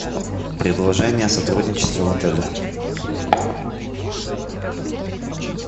предложения о сотрудничестве в отеле